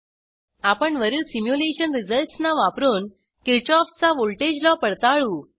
आपण वरील सिम्युलेशन रिझल्ट्सना वापरून किरशॉफचा व्हॉल्टेज लॉ पडताळू